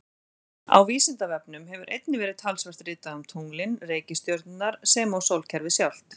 Á Vísindavefnum hefur einnig verið talsvert ritað um tunglin, reikistjörnurnar sem og sólkerfið sjálft.